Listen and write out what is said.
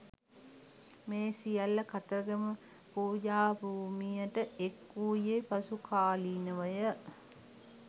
මේ සියල්ල කතරගම පූජාභූමියට එක් වූයේ පසු කාලීනව ය.